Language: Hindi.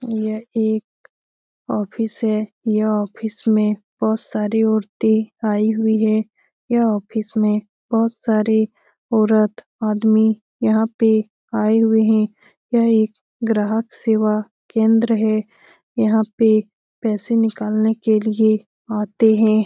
यह एक ऑफिस है यह ऑफिस में बहोत सारी औरतें आई हुई हैं यह ऑफिस में बहोत सारी औरत आदमी यहाँ पे आए हुए हैं यह एक ग्राहक सेवा केंद्र हैं यहाँ पे पैसे निकालने के लिए आते हैं।